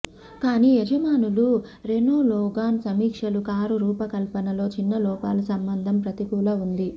కానీ యజమానులు Renault Logan సమీక్షలు కారు రూపకల్పనలో చిన్న లోపాలు సంబంధం ప్రతికూల ఉంది